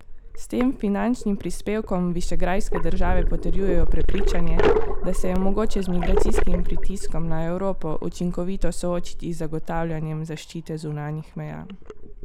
S tem finančnim prispevkom višegrajske države potrjujejo prepričanje, da se je mogoče z migracijskim pritiskom na Evropo učinkovito soočiti z zagotavljanjem zaščite zunanjih meja.